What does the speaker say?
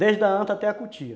Desde a anta até a cutia.